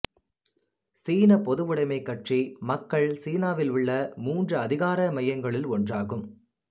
சீனப் பொதுவுடமைக் கட்சி மக்கள் சீனாவிலுள்ள மூன்று அதிகார மையங்களுள் ஒன்றாகும்